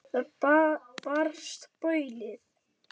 Þaðan barst baulið.